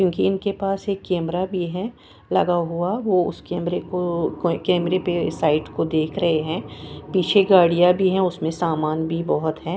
क्योंकि इनके पास एक कैमरा भी है लगा हुआ वो उस कैमरे को कैमरे पे साइट को देख रहे हैं पीछे गाड़ियां भी है उसमें सामान भी बोहोत है।